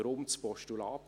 Weshalb ein Postulat?